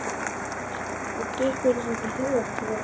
Mér dytti ekki einu sinni í hug að tjóðra mig.